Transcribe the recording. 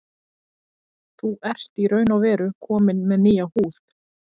Þú ert í raun og veru kominn með nýja húð.